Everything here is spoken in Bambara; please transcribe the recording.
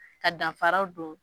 Ka danfara don.